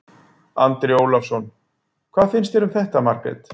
Andri Ólafsson: Hvað finnst þér um þetta Margrét?